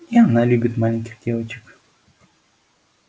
и она любит маленьких девочек